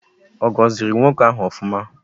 Ogoziri nwoke ahu ofuma?